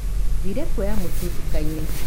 Thire kuoya mũtu ndukainĩ.